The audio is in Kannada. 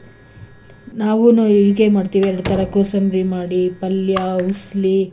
ನಾವೂನು ಹೀಗೆ ಮಾಡ್ತೀವಿ ಎರಡು ತರ ಕೋಸಂಬ್ರಿ ಮಾಡಿ ಪಲ್ಯ ಉಸ್ಲಿ,